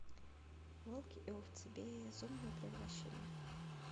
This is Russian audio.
волки и овцы безумное превращение